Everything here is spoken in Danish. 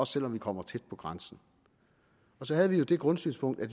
selv om man kommer tæt på grænsen så havde vi jo det grundsynspunkt at